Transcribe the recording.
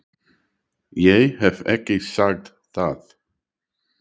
Ég hef ekki sagt það!